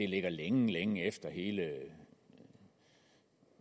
ligger længe længe efter hele